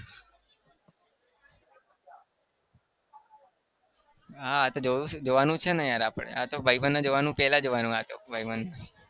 હા તો જોવું છું જોવાનું છે ને યાર આપણે આતો ભાઈબંધને જોવાનું પહેલા જોવાનું આતો ભાઈબંધ